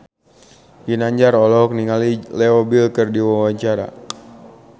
Ginanjar olohok ningali Leo Bill keur diwawancara